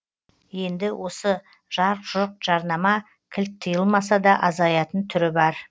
енді осы жарқ жұрқ жарнама кілт тыйылмаса да азаятын түрі бар